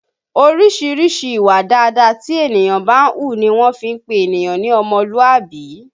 Orísìírísìí ìwà dáadáa tí ènìyàn bá ń hù ní wọ́n fi ń pé ènìyàn ní ọmọlúàbí